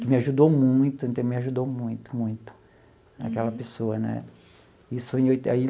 que me ajudou muito, então ele me ajudou muito, muito, aquela pessoa né isso foi em oi aí.